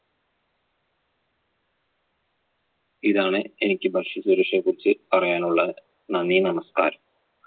ഇതാണ് എനിക്ക് ഭക്ഷ്യസുരക്ഷയെ കുറിച്ച് പറയാൻ ഉള്ളത്. നന്ദി നമസ്കാരം.